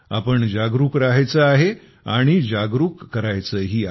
आपण जागरूक रहायचं आहे आणि जागरूक करायचंही आहे